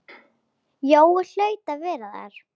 Jói hlaut að vera þar.